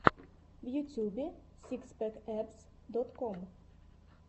в ютюбе сикс пэк эбз дот ком